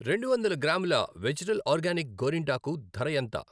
రెండు వందల గ్రాముల వెజిటల్ ఆర్గానిక్ గోరింటాకు ధర ఎంత?